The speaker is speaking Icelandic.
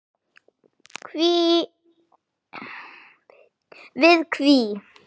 við HÍ.